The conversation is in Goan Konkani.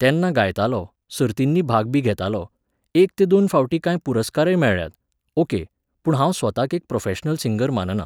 तेन्ना गायतालों, सर्तिंनी भाग बी घेतालों, एक ते दोन फावटी कांय पुरस्कारय मेळ्ळ्यात, ओके, पूण हांव स्वताक एक प्रोफॅशनल सिंगर मानना